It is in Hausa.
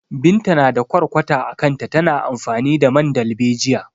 Binta na da ƙwarƙwata a kanta, tana amfani da man dalbejiya.